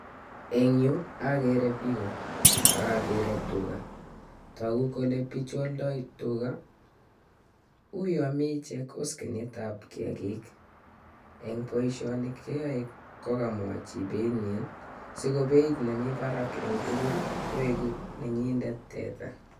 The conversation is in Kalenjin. Eng you agere piko ak agere tuga. Uuyo mi ichek oskenit ab t Kiagik. Eng boishoni keyaei kokamwa chi beit nyin si ko beit neni barak eng tugul koegu nenyindet teta